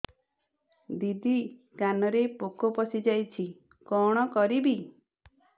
ଦିଦି କାନରେ ପୋକ ପଶିଯାଇଛି କଣ କରିଵି